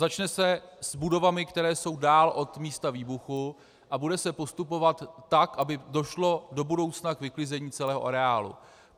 Začne se s budovami, které jsou dál od místa výbuchu, a bude se postupovat tak, aby došlo do budoucna k vyklizení celého areálu.